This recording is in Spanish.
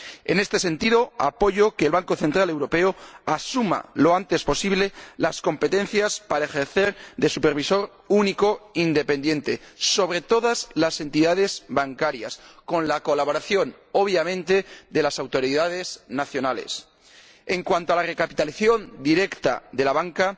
En este sentido, apoyo que el Banco Central Europeo asuma lo antes posible las competencias para ejercer de supervisor único independiente sobre todas las entidades bancarias, con la colaboración, obviamente, de las autoridades nacionales. En cuanto a la recapitalización directa de la banca,